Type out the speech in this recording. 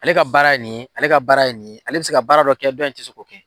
Ale ka baara ye nin ye, ale ka baara ye nin ye, ale bɛ se ka baara dɔ kɛ dɔ in tɛ se k'o kɛ.